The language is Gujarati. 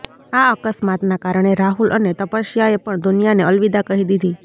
આ અકસ્માતના કારણે રાહુલ અને તપસ્યાએ પણ દુનિયાને અલવિદા કહી દીધી